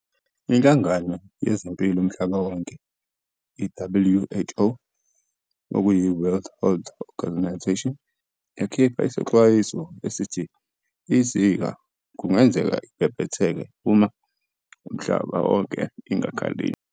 Inhlangano yezempilo umhlaba wonke, WHO, yakhipha isexwayiso esithi iZika kugenzeka ibhebhetheke umhlaba wonke uma ingakhalinywa.